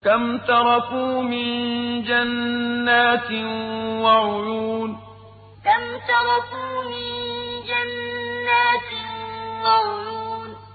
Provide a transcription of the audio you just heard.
كَمْ تَرَكُوا مِن جَنَّاتٍ وَعُيُونٍ كَمْ تَرَكُوا مِن جَنَّاتٍ وَعُيُونٍ